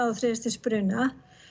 og þriðja stigs bruna